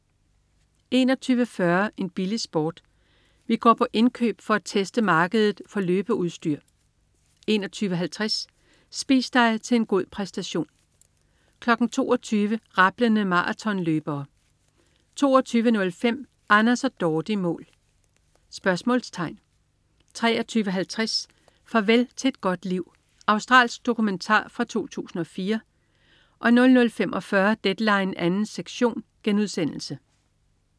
21.40 En billig sport? Vi går på indkøb for at teste markedet for løbeudstyr 21.50 Spis dig til en god præstation 22.00 Rablende maratonløbere 22.05 Anders og Dorte i mål? 23.50 Farvel til et godt liv. Australsk dokumentar fra 2004 00.45 Deadline 2. sektion*